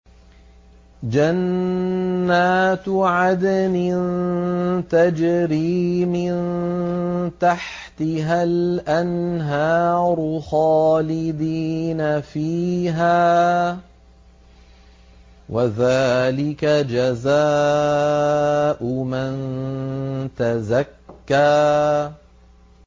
جَنَّاتُ عَدْنٍ تَجْرِي مِن تَحْتِهَا الْأَنْهَارُ خَالِدِينَ فِيهَا ۚ وَذَٰلِكَ جَزَاءُ مَن تَزَكَّىٰ